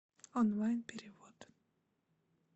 онлайн перевод